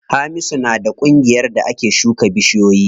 Hamisu na da ƙungiyar da ake shuka bishiyoyi.